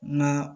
Na